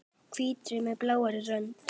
Hvítri með blárri rönd.